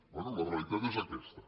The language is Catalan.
bé la realitat és aquesta